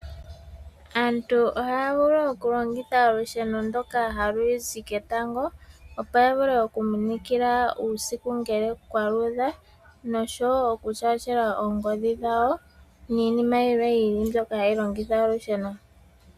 Aantu ohaya vulu oku longitha olusheno ndoka halu zi ketango opo ya vule oku minikila uusiku ngele kwaluudha noshowo okushaashela oongodhi dhawo niinima yilwe yi ili mbyono hayi longitha olusheno